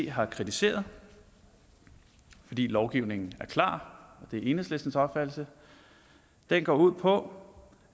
har kritiseret fordi lovgivningen er klar det er enhedslistens opfattelse går ud på